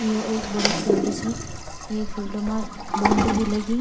यु एक बड़ु फील्ड छ ये फील्ड मा बाउंड्री भी लगीं।